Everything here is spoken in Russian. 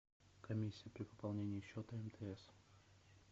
комиссия при пополнении счета мтс